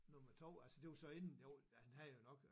Nummer 2 altså det var så inden jo han havde jo nok